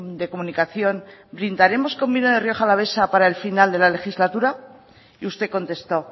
de comunicación brindaremos con vino de rioja alavesa para el final de la legislatura y usted contestó